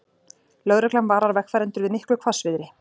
Lögreglan varar vegfarendur við miklu hvassviðri